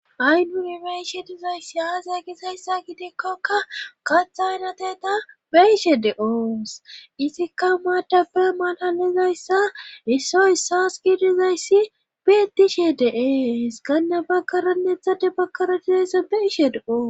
ay nuni beishe dizayssi aaza gizayssa gidekkokka katha aynateta beishe de7oos izikka maadabe malalizayssa isso issas gi dizayssi beedishe deees ganna baggaraneethade bagkara dizayssan beishe de7oos